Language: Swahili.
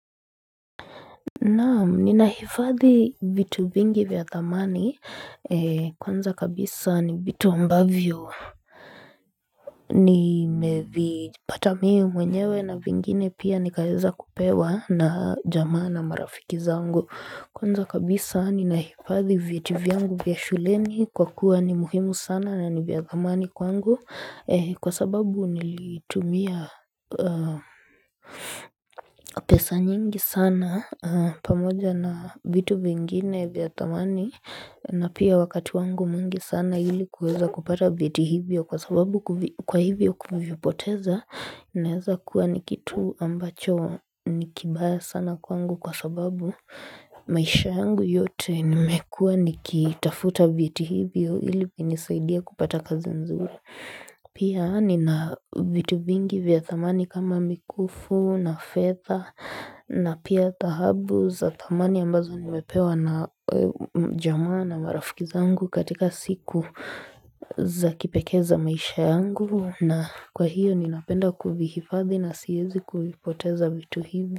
Naamu, ninahifadhi vitu vingi vya thamani kwanza kabisa ni vitu ambavyo Nimevi pata mimi mwenyewe na vingine pia nikaeza kupewa na jamaa na marafiki zangu Kwanza kabisa ninahifadhi vyeti vyangu vya shuleni kwa kuwa ni muhimu sana na ni vya thamani kwangu Kwa sababu nilitumia pesa nyingi sana pamoja na vitu vingine vya thamani na pia wakati wangu mwingi sana ili kuweza kupata vyeti hivyo kwa sababu kwa hivyo kuvipoteza Naeza kuwa ni kitu ambacho nikibaya sana kwangu kwa sababu maisha yangu yote nimekua nikitafuta vieti hivyo ili vinisaidia kupata kazi nzuri Pia ni na vitu vingi vya thamani kama mikufu na fedha na pia dhahabu za thamani ambazo nimepewa na jamaa na marafikizangu katika siku za kipekee za maisha yangu na kwa hiyo ninapenda kuvihifadhi na siyezi kuvipoteza vitu hivi.